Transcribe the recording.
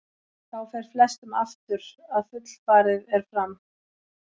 Þá fer flestum aftur að fullfarið er fram.